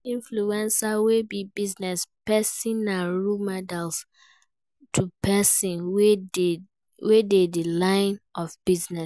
Influencers wey be business persin na role model to persin wey de the line of business